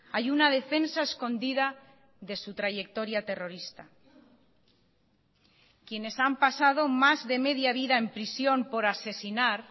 hay una defensa escondida de su trayectoria terrorista quienes han pasado más de media vida en prisión por asesinar